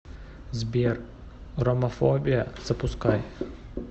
сбер ромафобия запускай